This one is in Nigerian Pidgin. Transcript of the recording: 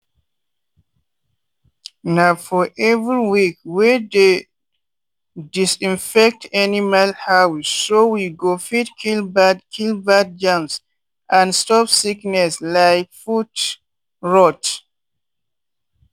na for every week we dey disinfect animal houseso we go fit kill bad kill bad germs and stop sickness like foot rot.